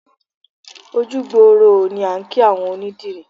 Ojú gbooró ooo ni à ń kí àwọn onídìrí